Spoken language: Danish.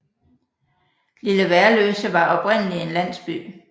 Lille Værløse var oprindeligt en landsby